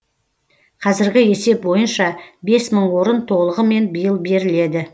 қазіргі есеп бойынша бес мың орын толығымен биыл беріледі